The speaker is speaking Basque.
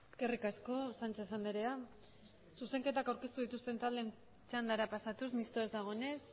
eskerrik asko sánchez andrea zuzenketak aurkeztu dituzten taldeen txandara pasatuz mistoa ez dagoenez